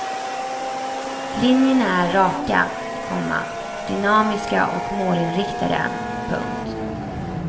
Linjerna är raka, komma dynamiska och målinriktade. punkt